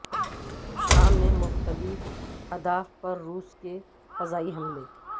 شام میں مختلف اہداف پر روس کے فضائی حملے